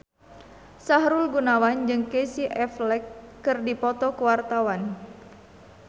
Sahrul Gunawan jeung Casey Affleck keur dipoto ku wartawan